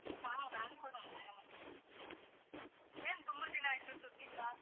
ಹಾ ನಾನು ಕೂಡ ಅರಾಮ್. ಏನ್ ತುಂಬಾ ದಿನ ಆಯ್ತು ಸುದ್ದಿಯಿಲ್ಲ?